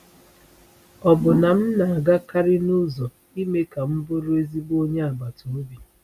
Ọ̀ bụ na m na-agakarị n’ụzọ ime ka m bụrụ ezigbo onye agbata obi?”